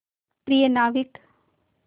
प्रिय नाविक